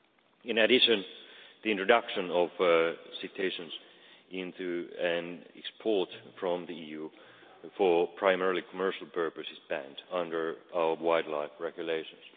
In addition, the introduction of cetaceans into, and export from, the EU for primarily commercial purposes is banned under our wildlife regulations.